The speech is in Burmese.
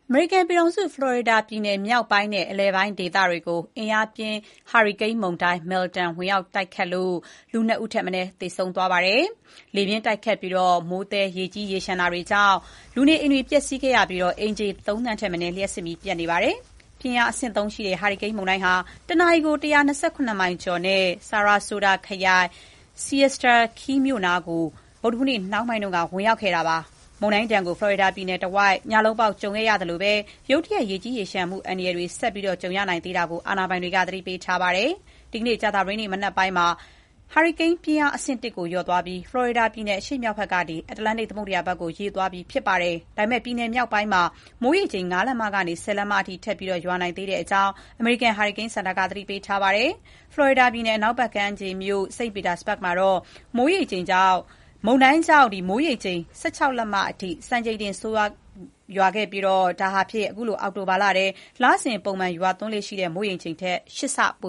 အမေရိကန်ပြည်ထောင်စု ဖလော်ရီဒါပြည်နယ် မြောက်ပိုင်းနဲ့ အလယ်ပိုင်း ဒေသတွေကို အင်အားပြင်း ဟာရီကိန်း မုန်တိုင်း Milton ဝင်ရောက်ခဲ့လို့ ၂ ဦးထက် မနည်း သေဆုံးခဲ့ပါတယ်။ လေပြင်းတိုက်ခတ်ပြီး မိုးသည်း ရေလျှံမှုတွေကြောင့် လူနေအိမ်တွေပျက်စီးခဲ့ပြီး ၃ သန်းထက်မနည်း လျှပ်စစ်မီး ပြတ်တောက်နေကြပါတယ်။ ပြင်းအား အဆင့် ၃ ရှိတဲ့ ဟာရီကိန်း မုန်တိုင်းဟာ တနာရီကို ၁၂၇ မိုင်ကျော်နဲ့ Sarasota ခရိုင်၊ Siesta Key မြို့နားကို ဗုဒ္ဓဟူးနေ့ နှောင်းပိုင်းက ဝင်ရောက်ခဲ့တာဖြစ်ပါတယ်။ မုန်တိုင်းဒဏ်ကို ဖလော်ရီဒါပြည်နယ်တဝိုက် ညလုံးပေါက် ကြုံခဲ့ရသလို၊ ရုတ်တရက် ရေကြီးရေလျှံမှု အန္တရာယ်တွေ ဆက်ကြုံလာရနိုင်သေးတာကို အာဏာပိုင်တွေက သတိပေးထားပါတယ်။ ဒီနေ့ ကြာသပတေးနေ့ မနက်ပိုင်းမှာ ဟာရီကိန်းပြင်းအား အဆင့် ၁ ကို လျော့သွားပြီး ဖလော်ရီဒါပြည်နယ် အရှေ့မြောက်ဘက် ကနေ အတ္တလန္တိတ်သမုဒ္ဒရာဘက်ကို ရွေ့လျားသွားပြီဖြစ်ပါတယ်။ ဒါပေမဲ့ ပြည်နယ်မြောက်ပိုင်းမှာ မိုးရေချိန် ၅ လက်မ ကနေ ၁၀ လက်မ အထိ ထပ်ရွာနိုင်သေးတဲ့အကြောင်း အမေရိကန် ဟာရီကိန်းစင်တာက သတိပေးထားပါတယ်။ ဖလော်ရီဒါပြည်နယ် အနောက်ဘက် ကမ်းခြေမြို့ St. Petersburg မှာတော့ မုန်တိုင်းကြောင့် မိုးရေချိန် ၁၆ လက်မအထိ စံချိန်တင် ရွာခဲ့ပြီး ဒါဟာဖြင့် ခုလို အောက်တိုဘာလထဲ လစဥ် ပုံမှန် ရွာသွန်းလေ့ရှိတဲ့ မိုးရေချိန်ထက် ၈ ဆ ပိ